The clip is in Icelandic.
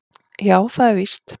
Já, það er víst